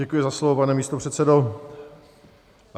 Děkuji za slovo, pane místopředsedo.